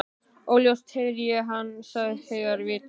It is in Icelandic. Óljóst heyrði ég að hann sagðist heita Viðar.